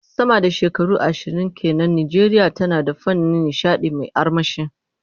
Sama da shekaru ashirin ke nan, Najeriya tana da fannin nishadi mai armashi.